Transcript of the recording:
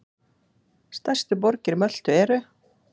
Stærstu borgir Möltu eru